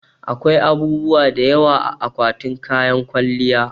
Akwai abubuwa da yawa a akwatin kayan kwalliya